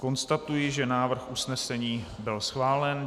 Konstatuji, že návrh usnesení byl schválen.